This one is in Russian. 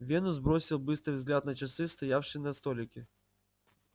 венус бросил быстрый взгляд на часы стоявшие на столике